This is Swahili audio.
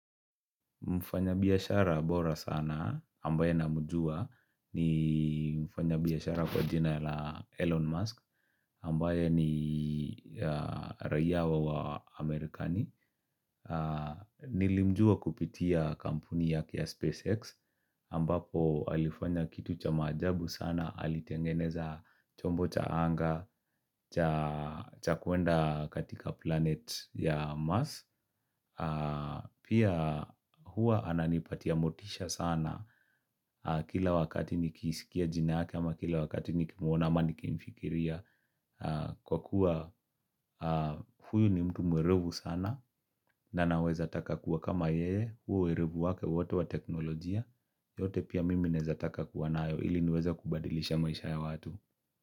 Mfanyabiashara bora sana ambaye namjua ni mfanyabiashara kwa jina la Elon Musk ambaye ni raia wa Amerikani. Nilimjua kupitia kampuni yake ya SpaceX ambapo alifanya kitu cha maajabu sana alitengeneza chombo cha anga cha kuenda katika planet ya Mars. Pia huwa ananipatia motisha sana Kila wakati nikisikia jina yake ama kila wakati nikimuona ama nikimfikiria kwa kuwa huyu ni mtu mwerevu sana na naweza taka kuwa kama yeye huo uerevu wake wote wa teknolojia yote pia mimi naeza taka kuwa nayo ili niweze kubadilisha maisha ya watu.